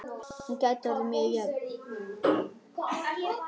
Hún gæti orðið mjög jöfn.